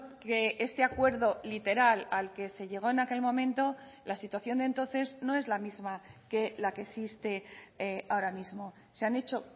que este acuerdo literal al que se llegó en aquel momento la situación de entonces no es la misma que la que existe ahora mismo se han hecho